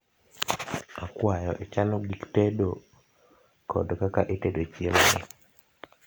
akwayo ichano gik itedo kod kaka itedo chiemoni